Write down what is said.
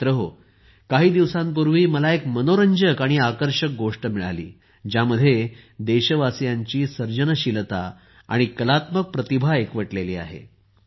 मित्रहो काही दिवसांपूर्वी मला एक मनोरंजक आणि आकर्षक गोष्ट मिळाली ज्यामध्ये देशवासीयांची सर्जनशीलता आणि कलात्मक प्रतिभा एकवटलेली आहे